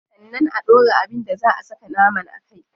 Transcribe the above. Sannan a dora abin da zaa a saka naman a kai.